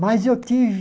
Mas eu tive...